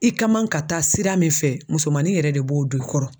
I ka man ka taa sira min fɛ musomanin yɛrɛ de b'o don i kɔrɔ.